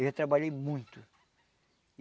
Eu já trabalhei muito.